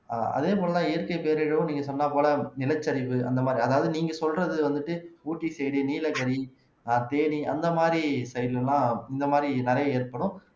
ஆஹ் அதே போல தான் இயற்கை பேரிடரும் நீங்க சொன்ன போல நிலச்சரிவு அந்த மாதிரி அதாவது நீங்க சொல்றது வந்துட்டு ஊட்டி side நீலகிரி தேனி அந்த மாதிரி side ல எல்லாம் இந்த மாதிரி நிறைய ஏற்படும்